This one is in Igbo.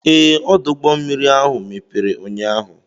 Ee, ọdụ ụgbọ mmiri ahụ mepere ụnyaahụ.